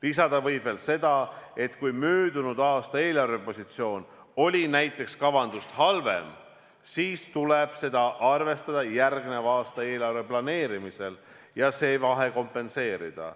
Lisada võib veel seda, et kui möödunud aasta eelarvepositsioon oli näiteks kavandatust halvem, siis tuleb seda arvestada järgneva aasta eelarve planeerimisel ja see vahe kompenseerida.